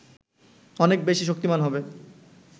অনেক বেশি শক্তিমান হবে